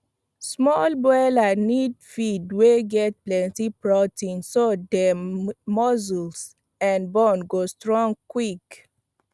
small boiler need feed wey get plenti protein so dem muscle and bone go strong quick